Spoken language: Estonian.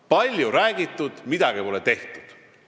Palju on räägitud, midagi pole tehtud.